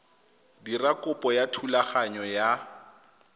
dira kopo ya thulaganyo ya